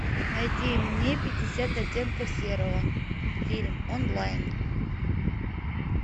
найти мне пятьдесят оттенков серого фильм онлайн